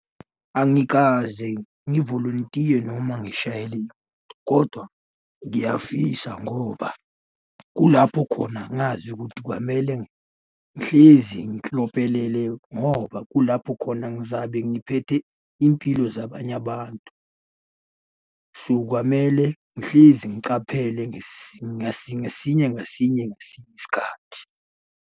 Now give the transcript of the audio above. Angikaze ngivolontiye noma ngishayele kodwa ngiyafisa ngoba kulapho khona ngazi ukuthi kwamele ngihlezi ngoba kulapho khona ngizabe ngiphethe impilo zabanye abantu. So, kwamele ngihlezi ngicaphele ngasinye ngasinye ngasinye isikhathi.